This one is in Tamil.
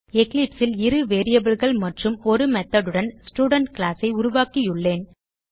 எக்லிப்ஸ் ல் இரு variableகள் மற்றும் ஒரு மெத்தோட் உடன் ஸ்டூடென்ட் கிளாஸ் ஐ உருவாக்கியுள்ளேன்